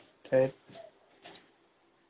சரி